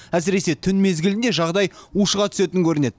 әсіресе түн мезгілінде жағдай ушыға түсетін көрінеді